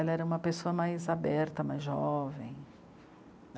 Ela era uma pessoa mais aberta, mais jovem.